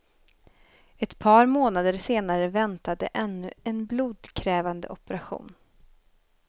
Ett par månader senare väntade ännu en blodkrävande operation.